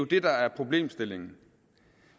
det der er problemstillingen